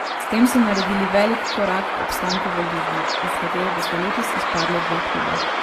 S tem so naredili velik korak k obstanku v ligi, iz katere bosta letos izpadla dva kluba.